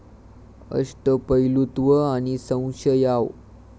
अष्टपैलुत्व आणि संशयाव